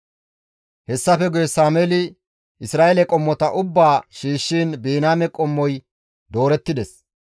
Hessafe guye Sameeli Isra7eele qommota ubbaa shiishshiin Biniyaame qommoy doorettides.